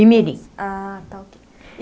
Imirim. Ah, está ok.